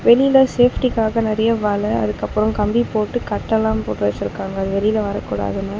வெளில சேஃப்டிக்காக நெறையா வல அதுக்கப்றோ கம்பி போட்டு கட்டெல்லா போட்டு வச்சுருக்காங்க அது வெளில வரக்கூடாதுன்னு.